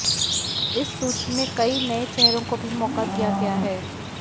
इस सूची में कई नए चेहरों को भी मौका दिया गया है